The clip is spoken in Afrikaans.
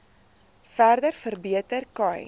verder verbeter khai